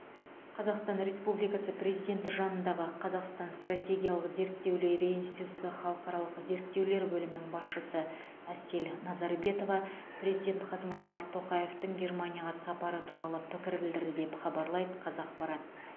қазақстан республикасы президенті жанындағы қазақстан стратегиялық зерттеулер институты халықаралық зерттеулер бөлімінің басшысы әсел назарбетова президент қасым жомарт тоқаевтың германияға сапары туралы пікір білдірді деп хабарлайды қазақпарат